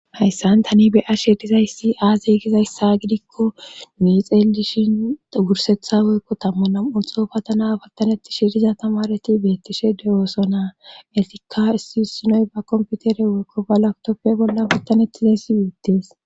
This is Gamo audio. Hayssan tani beya shirizayssi aazigizayssa gidikko mii xeelishin wursetha weykko tammuna ulxo patana pattanetti shiriza tamareti beettishe dewooso naa etikka issi issinoy ba komputere woykko balaktoppe bolla pattanetti zeyssiwi uttees.